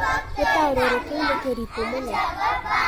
Gĩtarũrũ kĩu nĩ kĩrĩtũ mũno.